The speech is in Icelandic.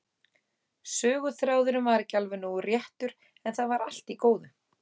Söguþráðurinn var ekki alveg nógu réttur, en það var allt í góðu.